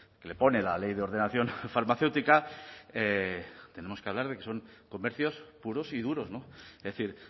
que le pone la ley de ordenación farmacéutica tenemos que hablar de que son comercios puros y duros es decir